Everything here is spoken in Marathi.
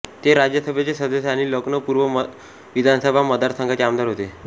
ते राज्यसभेचे सदस्य आणि लखनौ पूर्व विधानसभा मतदारसंघाचे आमदार होते